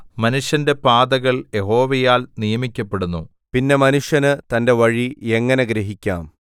മനുഷ്യന്റെ പാതകൾ യഹോവയാൽ നിയമിക്കപ്പെടുന്നു പിന്നെ മനുഷ്യന് തന്റെ വഴി എങ്ങനെ ഗ്രഹിക്കാം